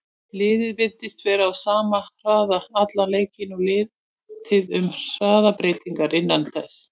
Liðið virtist vera á sama hraða allan leikinn og lítið um hraðabreytingar innan þess.